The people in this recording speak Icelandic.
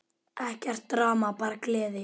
Ekkert drama, bara gleði!